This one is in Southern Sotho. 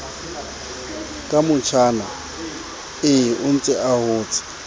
ka motjhanae ontse a hotse